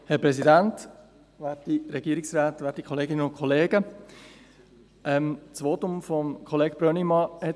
Das Votum von Thomas Brönnimann hat mich ans Rednerpult getrieben.